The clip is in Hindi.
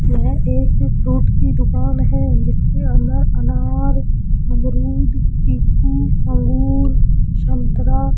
यह एक फ्रूट की दुकान हैं जिसके अंदर अनार अमरुद चीकू अंगूर संतरा --